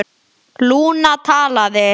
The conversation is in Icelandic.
Lúna talaði: